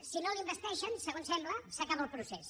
si no l’investeixen segons sembla s’acaba el procés